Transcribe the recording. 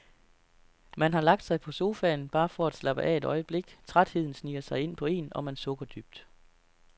Man har lagt sig på sofaen, bare for at slappe af et øjeblik, trætheden sniger sig ind på en, og man sukker dybt.